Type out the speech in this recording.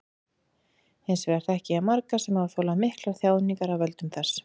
Hins vegar þekki ég marga sem hafa þolað miklar þjáningar af völdum þess.